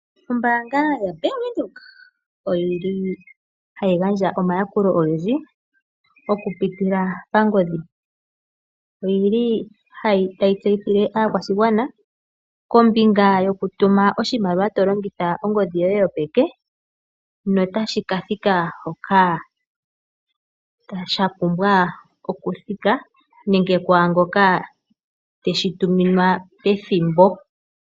Ombaanga yoBank Windhoek ohayi gandja omayakulo ogendji okupitila pangodhi. Otayi tseyithile aakwashigwana kombinga yokutuma oshimaliwa tolongitha ongodhi yoye yopeke notashi ka thika hoka sha pumbwa okuthika nenge kwaangoka teshi tuminwa pethimbo.